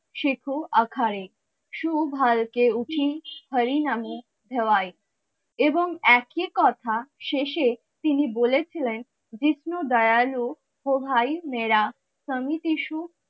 শেখ অখারে এবং একই কথা শেষে তিনি বলেছিলেন জিসণো দয়ালু ও ভাই মেরা